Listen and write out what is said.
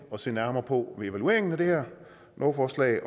to lovforslag